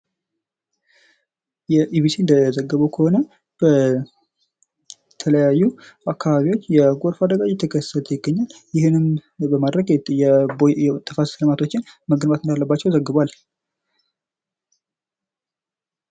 እንደዘገበው ከሆነ በተለያዩ አካባቢዎች የጎርፍ አደጋ እየተከሰተ ይገኛል። ይህንን በማድረግ የቦይ ተፋሰስ ልማቶችን መገንባት እንዳለባቸው ዘግቧል።